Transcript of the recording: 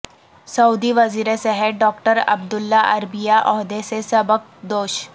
سعودی وزیر صحت doctor Abdullah Al Rabiah عہدے سے سبکدوش